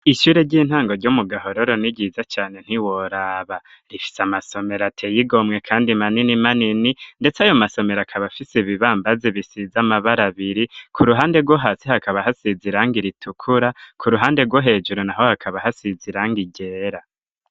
Ishure ry'intango ryo mu gahororo ni ryiza cane ntiworaba rifise amasomero ateyigomwe kandi manini manini ndetse ayo masomero akaba afise ibibambazi bisize amabara abiri ku ruhande rwohasi hakaba hasiza iranga iritukura ku ruhande rwo hejuru naho hakaba hasiza irangi ryera.